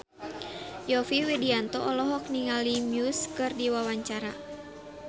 Yovie Widianto olohok ningali Muse keur diwawancara